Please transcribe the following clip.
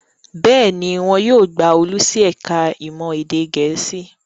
Bẹ́ẹ̀ ni, wọn yóò gba Olú sí ẹ̀ka-ìmọ̀ èdè Gẹ̀ẹ́sì.